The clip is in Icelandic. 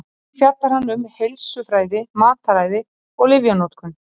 Einnig fjallar hann um heilsufræði, mataræði og lyfjanotkun.